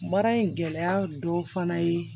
Baara in gɛlɛya dɔ fana ye